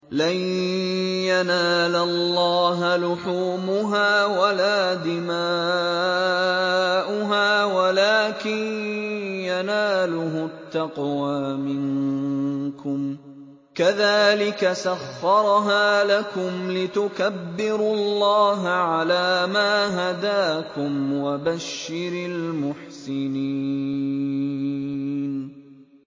لَن يَنَالَ اللَّهَ لُحُومُهَا وَلَا دِمَاؤُهَا وَلَٰكِن يَنَالُهُ التَّقْوَىٰ مِنكُمْ ۚ كَذَٰلِكَ سَخَّرَهَا لَكُمْ لِتُكَبِّرُوا اللَّهَ عَلَىٰ مَا هَدَاكُمْ ۗ وَبَشِّرِ الْمُحْسِنِينَ